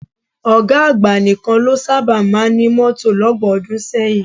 Ọ̀gá àgbà nìkan ló sábà máa ń ní mọ́tò lọ́gbọ̀n ọdún sẹ́yìn